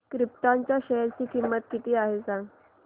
krypton च्या share ची किंमत किती आहे हे सांगा